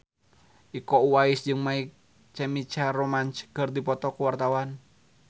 Iko Uwais jeung My Chemical Romance keur dipoto ku wartawan